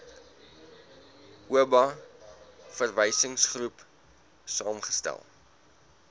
oba verwysingsgroep saamgestel